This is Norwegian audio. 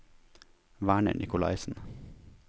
Werner Nicolaisen